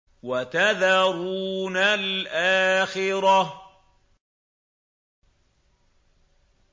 وَتَذَرُونَ الْآخِرَةَ